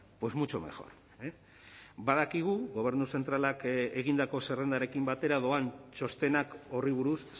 pues mucho mejor badakigu gobernu zentralak egindako zerrendarekin batera doan txostenak horri buruz